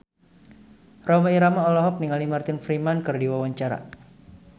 Rhoma Irama olohok ningali Martin Freeman keur diwawancara